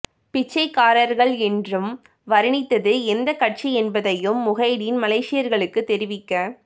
பிச்சைக்காரர்கள் என்றும் வருணித்தது எந்தக் கட்சி என்பதையும் முஹைடின் மலேசியர்களுக்குத் தெரிவிக்க